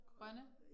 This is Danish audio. Grønne